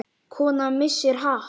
Kona missir hatt.